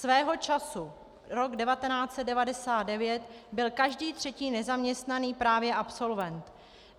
Svého času, rok 1999, byl každý třetí nezaměstnaný právě absolvent.